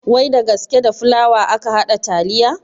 Wai da gasKe da fulawa aka haɗa taliya